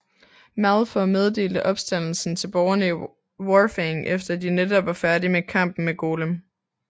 Malefor meddelte opstandelsen til borgerne i Warfang efter at de netop var færdige med kampen med Golem